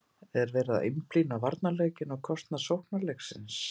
Er verið að einblína á varnarleikinn á kostnað sóknarleiksins?